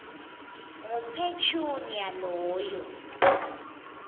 ngu petunia loyo